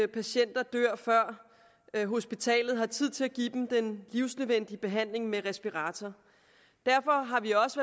patienter dør før hospitalet har tid til at give dem den livsnødvendige behandling med respirator derfor har vi også